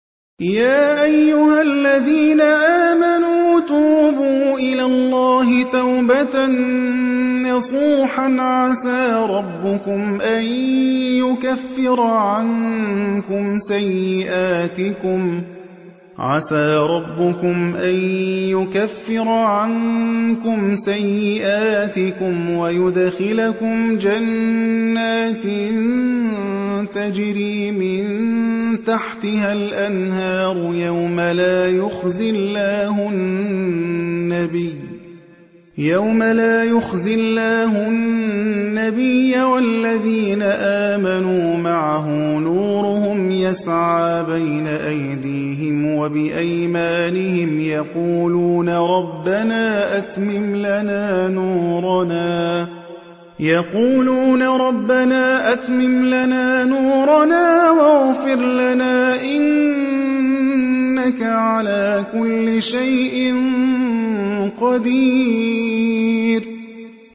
يَا أَيُّهَا الَّذِينَ آمَنُوا تُوبُوا إِلَى اللَّهِ تَوْبَةً نَّصُوحًا عَسَىٰ رَبُّكُمْ أَن يُكَفِّرَ عَنكُمْ سَيِّئَاتِكُمْ وَيُدْخِلَكُمْ جَنَّاتٍ تَجْرِي مِن تَحْتِهَا الْأَنْهَارُ يَوْمَ لَا يُخْزِي اللَّهُ النَّبِيَّ وَالَّذِينَ آمَنُوا مَعَهُ ۖ نُورُهُمْ يَسْعَىٰ بَيْنَ أَيْدِيهِمْ وَبِأَيْمَانِهِمْ يَقُولُونَ رَبَّنَا أَتْمِمْ لَنَا نُورَنَا وَاغْفِرْ لَنَا ۖ إِنَّكَ عَلَىٰ كُلِّ شَيْءٍ قَدِيرٌ